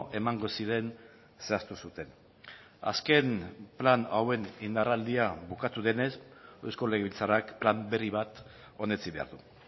emango ziren zehaztu zuten azken plan hauen indarraldia bukatu denez eusko legebiltzarrak plan berri bat onetsi behar du